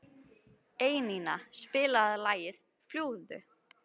Einína, spilaðu lagið „Fljúgðu“.